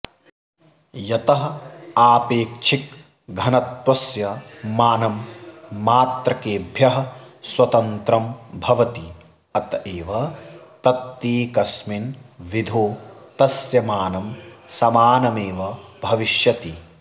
यतः आपेक्षिकघनत्वस्य मानं मात्रकेभ्यः स्वतन्त्रं भवति अतएव प्रत्येकस्मिन् विधो तस्य मानं समानमेव भविष्यति